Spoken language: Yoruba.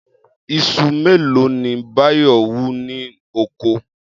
Is̩u mélòó ni Báyò̩ wú ní oko?